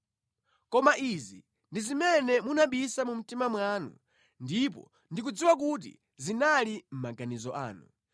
“Koma izi ndi zimene munabisa mu mtima mwanu, ndipo ndikudziwa kuti zinali mʼmaganizo anu: